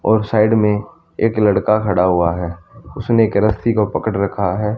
और साइड में एक लड़का खड़ा हुआ हैं उसने एक रस्सी को पकड़ रखा हैं।